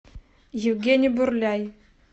евгений бурляй